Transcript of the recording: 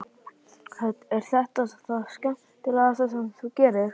Hödd: Er þetta það skemmtilegasta sem þú gerir?